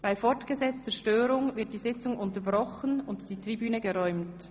Bei fortgesetzter Störung wird die Sitzung unterbrochen und die Tribüne geräumt.